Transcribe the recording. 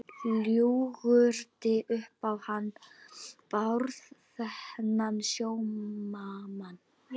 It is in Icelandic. Ljúgandi upp á hann Bárð, þennan sómamann.